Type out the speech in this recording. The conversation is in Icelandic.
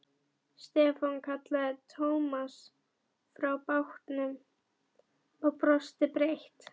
Stefán kallaði Thomas frá bátnum og brosti breitt.